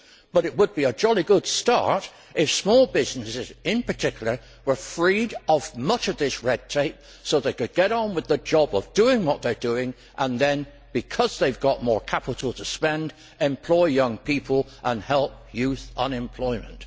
But it would be a jolly good start if small businesses in particular were freed of much of this red tape so they could get on with the job of doing what they are doing and then, because they have got more capital to spend, employ young people and help youth unemployment.